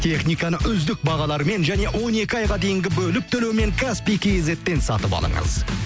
техниканы үздік бағалармен және он екі айға дейінгі бөліп төлеумен каспий кизеттен сатып алыңыз